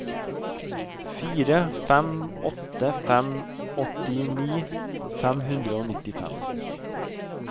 fire fem åtte fem åttini fem hundre og nittifem